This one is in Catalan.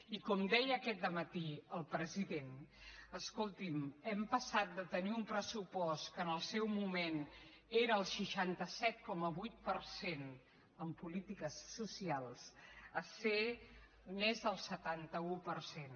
i com deia aquest dematí el president escoltin hem passat de tenir un pressupost que en el seu moment era el seixanta set coma vuit per cent en polítiques socials a ser més del setanta un per cent